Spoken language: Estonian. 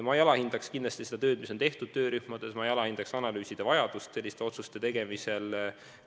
Ma kindlasti ei alahinda seda tööd, mis on tehtud töörühmades, ja ma ei alahinda ka analüüside vajadust selliste otsuste tegemisel.